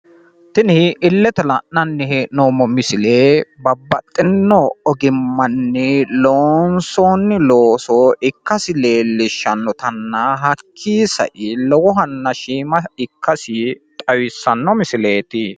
Tinibillete la'nanni hee'noommo misile babbaxitino ogimmanni loonsoonni looso ikkasi leellishshannotanna hakkii sai lowohanna shiima ikkasi xawissanno misileeti.